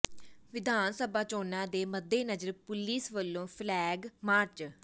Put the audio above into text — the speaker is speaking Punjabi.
ਵਿਧਾਨ ਸਭਾ ਚੋਣਾਂ ਦੇ ਮੱਦੇਨਜ਼ਰ ਪੁਲੀਸ ਵੱਲੋਂ ਫਲੈਗ ਮਾਰਚ